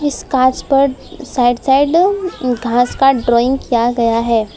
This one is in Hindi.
इस कांच पर साइड साइड घास का ड्राइंग किया गया है।